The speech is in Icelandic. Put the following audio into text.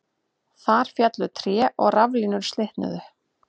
Þar féllu tré og raflínur slitnuðu